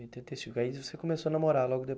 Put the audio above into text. Oitenta e cinco, e aí você começou a namorar logo de